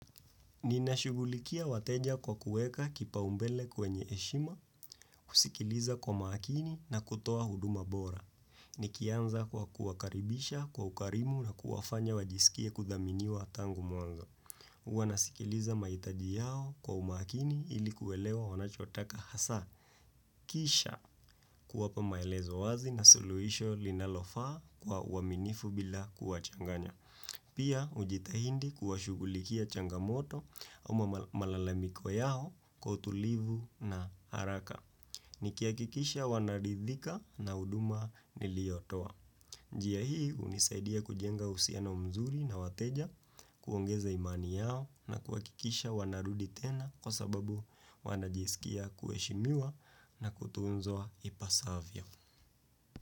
Ninashuggulikia wateja kwa kueka kipaumbele kwenye heshima, kusikiliza kwa makini na kutoa huduma bora. Nikianza kwa kuwakaribisha kwa ukarimu na kuwafanya wajisikie kudhaminiwa tangu mwanzo. Huwa nasikiliza mahitaji yao kwa umaakini ili kuelewa wanachotaka hasa. Kisha kuwapa maelezo wazi na suluhisho linalofaa kwa uaminifu bila kuwachanganya. Pia ujitahidi kuwa shugulikia changamoto au malalamiko yao kwa utulivu na haraka. Nikiahakikisha wanaridhika na huduma niliyotoa. Njia hii hunisaidia kujenga uhusiano mzuri na wateja kuongeza imani yao na kuwa kikisha wanarudi tena kwa sababu wanajisikia kuheshimiwa na kutunzwa ipasavyo.